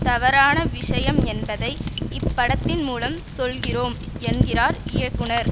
தவறான விஷயம் என்பதை இப்படத்தின் மூலம் சொல்கிறோம் என்கிறார் இயக்குனர்